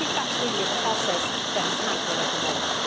I think that is really a process that is happening at the moment.